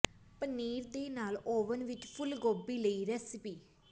ਪਨੀਰ ਦੇ ਨਾਲ ਓਵਨ ਵਿੱਚ ਫੁੱਲ ਗੋਭੀ ਲਈ ਰਿਸੈਪ